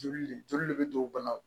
Joli le joli de bɛ don bana la